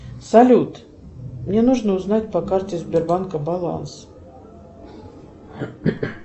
салют мне нужно узнать по карте сбербанка баланс